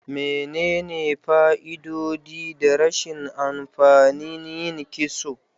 Menene fa'idodi da rashin amfani yin kitso?